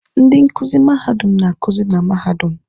Ndị nkuzi mahadum na-akuzi na mahadum.